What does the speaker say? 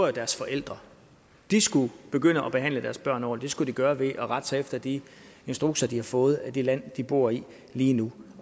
er deres forældre de skulle begynde at behandle deres børn ordentligt og det skulle de gøre ved at rette sig efter de instrukser de har fået af det land de bor i lige nu